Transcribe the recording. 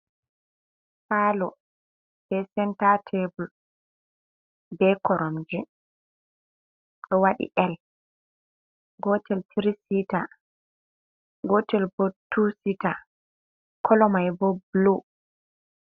Palo be sentateble be koromje ,dowadi L gotel 3sita gotel bo 2sita korowal mai bo blu.